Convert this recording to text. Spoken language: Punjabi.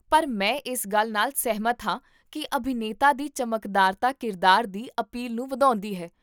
ਪਰ ਮੈਂ ਇਸ ਗੱਲ ਨਾਲ ਸਹਿਮਤ ਹਾਂ ਕੀ ਅਭਿਨੇਤਾ ਦੀ ਚਮਕਦਾਰਤਾ ਕਿਰਦਾਰ ਦੀ ਅਪੀਲ ਨੂੰ ਵਧਾਉਂਦੀ ਹੈ